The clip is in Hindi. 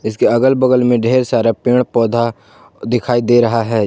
इसके अगल बगल में ढेर सारा पेड़ पौधा दिखाई दे रहा है।